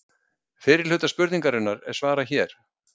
Fyrri hluta spurningarinnar er svarað hér.